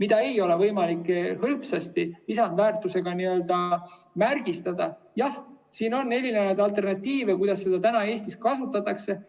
mida ei ole võimalik hõlpsasti lisandväärtusega vääristada – jah, siin on erinevaid alternatiive, kuidas seda Eestis kasutatakse.